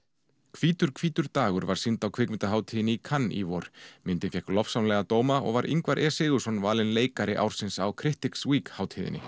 hvítur hvítur dagur var sýnd á kvikmyndahátíðinni í í vor myndin fékk lofsamlega dóma og var Ingvar e Sigurðsson valinn leikari ársins á Critics Week hátíðinni